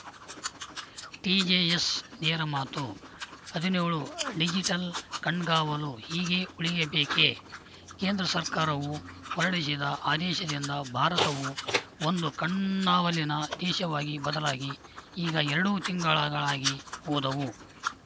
TJS ನೇರಮಾತು ಹದಿನೇಳು digital ಕಣ್ಗಾವಲು ಹೀಗೇ ಉಳಿಯಬೇಕೆ ಕೇಂದ್ರ ಸರ್ಕಾರವು ಹೊರಡಿಸಿದ ಆದೇಶದಿಂದ ಭಾರತವು ಒಂದು ಕಣ್ಣಾವಲಿನ ದೇಶವಾಗಿ ಬದಲಾಗಿ ಈಗ ಎರಡು ತಿಂಗಳುಗಳಾಗಿ ಹೋದವು